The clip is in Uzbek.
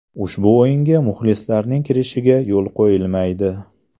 Ushbu o‘yinga muxlislarning kirishiga yo‘l qo‘yilmaydi.